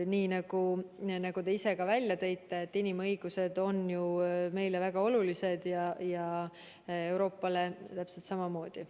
Nii nagu te ka ise välja tõite, on inimõigused meile väga olulised ja Euroopale täpselt samamoodi.